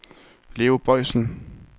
Leo Boysen